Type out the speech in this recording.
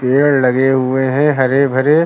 पेड़ लगे हुए हैं हरे भरे।